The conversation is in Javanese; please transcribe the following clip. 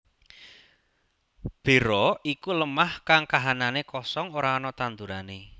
Bera iku lemah kang kahananné kosong ora ana tandurané